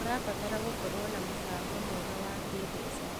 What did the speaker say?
ũrabatara gũkorwo na mũbango mwega wa kĩmbeca.